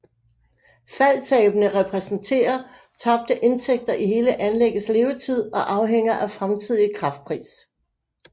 Faldtabene repræsenterer tabte indtægter i hele anlæggets levetid og afhænger af fremtidig kraftpris